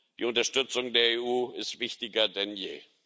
Die Unterstützung der EU ist wichtiger denn je.